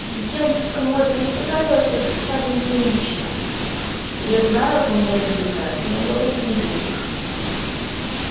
и тем кому это не понравилось отписали мне лично я знаю кому это не нравится но говорить не буду